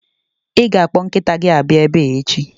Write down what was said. Ị ga-akpọ nkịta gị abịa ebe a echi!